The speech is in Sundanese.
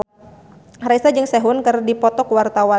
Raisa jeung Sehun keur dipoto ku wartawan